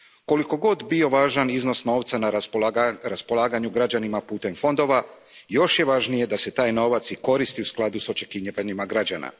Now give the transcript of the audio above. Koliko god bio važan iznos novca na raspolaganju građanima putem fondova, još je važnije da se taj novac i koristi u skladu s očekivanjima građana.